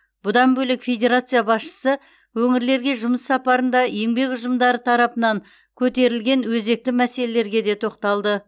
бұдан бөлек федерация басшысы өңірлерге жұмыс сапарында еңбек ұжымдары тарапынан көтерілген өзекті мәселелерге де тоқталды